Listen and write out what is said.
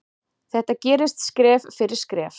Þetta gerist skref fyrir skref.